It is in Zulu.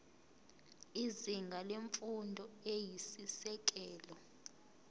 izinga lemfundo eyisisekelo